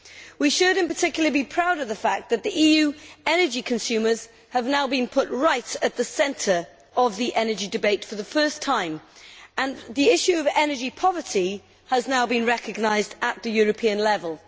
We should, in particular, be proud of the fact that the EU's energy consumers have now been put right at the centre of the energy debate for the first time and the issue of energy poverty has now been recognised at European level.